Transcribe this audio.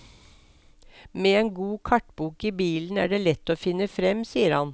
Med en god kartbok i bilen er det lett å finne frem, sier han.